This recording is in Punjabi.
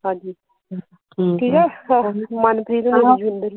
ਹਾਂਜੀ ਠੀਕ ਆ ਮਨਪ੍ਰੀਤ ਹੋਣਾ